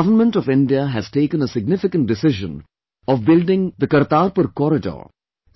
The Government of India has taken a significant decision of building Kartarpur corridor